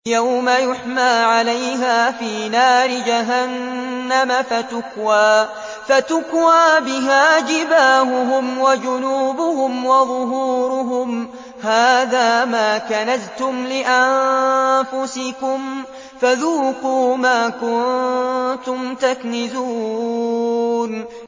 يَوْمَ يُحْمَىٰ عَلَيْهَا فِي نَارِ جَهَنَّمَ فَتُكْوَىٰ بِهَا جِبَاهُهُمْ وَجُنُوبُهُمْ وَظُهُورُهُمْ ۖ هَٰذَا مَا كَنَزْتُمْ لِأَنفُسِكُمْ فَذُوقُوا مَا كُنتُمْ تَكْنِزُونَ